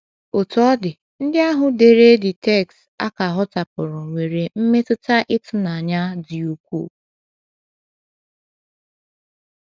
Otú ọ dị, ndị ahụ dere the dere the text a ka hotapụrụ nwere mmetụta ịtụnanya dị ukwuu.